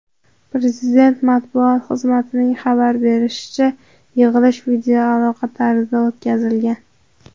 Prezident matbuot xizmatining xabar berishicha , yig‘ilish videoaloqa tarzida o‘tkazilgan.